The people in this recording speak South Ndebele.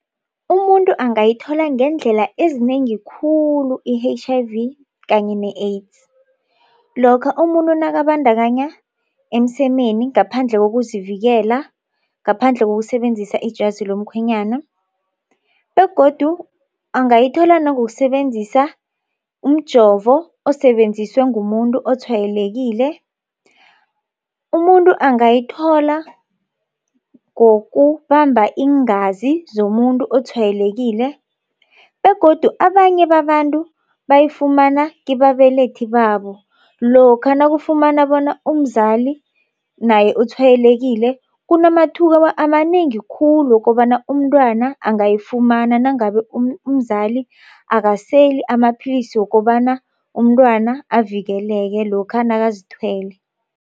Umuntu angayithola ngeendlela ezinengi khulu i-H_I_V kanye ne-AIDS. Lokha umuntu nakabandakanya emsemeni ngaphandle kokuzivikela. Ngaphandle kokusebenzisa ijazi lomkhwenyana begodu angayithola nangokusebenzisa umjovo osebenziswe ngumuntu otshwayelekile. Umuntu angayithola ngokubamba iingazi zomuntu otshwayelekile begodu abanye babantu bayifumana kibabelethi babo. Lokha nakufumana bona umzali naye utshwayelekile kunamathuba amanengi khulu wokobana umntwana angayifumana nangabe umzali akaseli amapillisi wokobana umntwana avikeleke lokha nakazithwele.